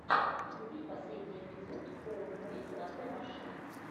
вруби последний эпизод хоуммэйд латэ машин